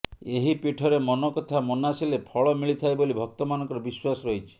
ଏହି ପୀଠରେ ମନକଥା ମନାସିଲେ ଫଳମିଳିଥାଏ ବୋଲି ଭକ୍ତମାନଙ୍କର ବିଶ୍ୱାସ ରହିଛି